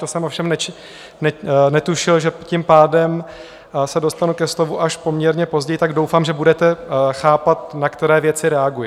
To jsem ovšem netušil, že tím pádem se dostanu ke slovu až poměrně později, tak doufám, že budete chápat, na které věci reaguji.